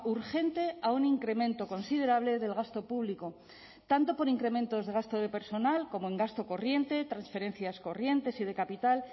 urgente a un incremento considerable del gasto público tanto por incrementos de gasto de personal como en gasto corriente transferencias corrientes y de capital